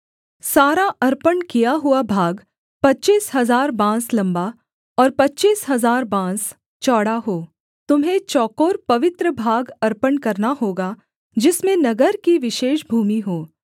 सारा अर्पण किया हुआ भाग पच्चीस हजार बाँस लम्बा और पच्चीस हजार बाँस चौड़ा हो तुम्हें चौकोर पवित्र भाग अर्पण करना होगा जिसमें नगर की विशेष भूमि हो